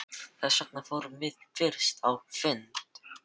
Þessvegna fórum við fyrst á þinn fund.